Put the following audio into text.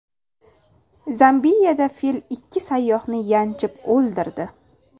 Zambiyada fil ikki sayyohni yanchib o‘ldirdi.